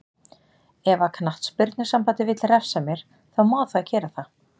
Ef að knattspyrnusambandið vill refsa mér, þá má það gera það.